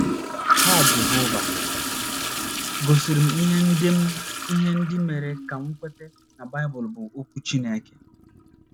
Ha Jehova gosiri m ihe ndị m ihe ndị mere ka m kweta na Baịbụl bụ Okwu Chineke.